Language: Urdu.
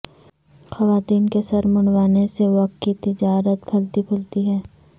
خواتین کے سر منڈوانے سے وگ کی تجارت پھلتی پھولتی ہے